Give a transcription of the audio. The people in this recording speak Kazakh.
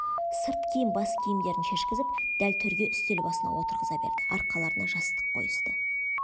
сырт киім бас киімдерін шешкізіп дәл төрге үстел басына отырғыза берді арқаларына жастық қойысты